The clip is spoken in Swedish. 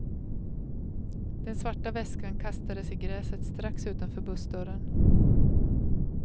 Den svarta väskan kastades i gräset strax utanför bussdörren.